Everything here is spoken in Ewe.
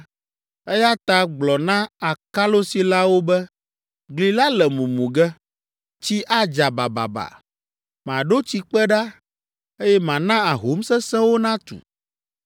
eya ta gblɔ na akalosilawo be, gli la le mumu ge. Tsi adza bababa, maɖo tsikpe ɖa, eye mana ahom sesẽwo natu.